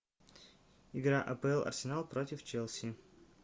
игра апл арсенал против челси